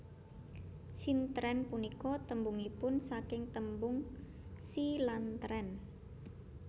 Sintren punika tembungipun saking tembung Si lan tren